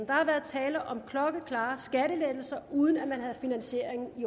der har været tale om klokkeklare skattelettelser uden at man havde finansieringen i